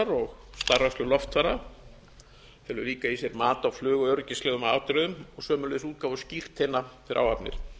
og starfrækslu loftfara felur líka í sér mat á flugöryggislegum atriðum og sömuleiðis útgáfu skírteina fyrir áhafnir